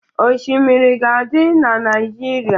Oshimiri ga-adị na Naịjirịa.